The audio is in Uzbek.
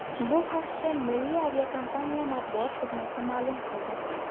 Bu haqda milliy aviakompaniya matbuot xizmati ma’lum qildi.